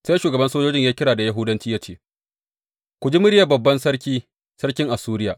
Sai shugaban sojojin ya yi kira da Yahudanci ya ce, Ku ji muryar babban sarki, sarkin Assuriya!